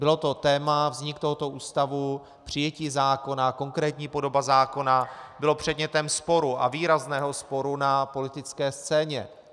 Bylo to téma, vznik tohoto ústavu, přijetí zákona, konkrétní podoba zákona, bylo předmětem sporu, a výrazného sporu na politické scéně.